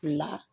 La